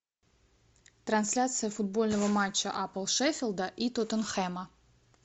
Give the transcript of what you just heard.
трансляция футбольного матча апл шеффилда и тоттенхэма